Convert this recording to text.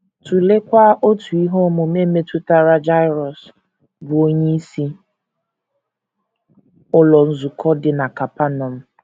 Tụleekwa otu ihe omume metụtara Jaịrọs, bụ́ onyeisi ụlọ nzukọ dị na Kapanọm.